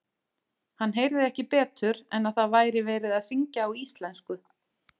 Hann heyrði ekki betur en að það væri verið að syngja á íslensku.